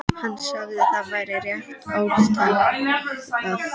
Hann sagði að það væri rétt ályktað.